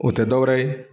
O tɛ dɔwɛrɛ ye